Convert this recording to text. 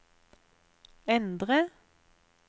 endre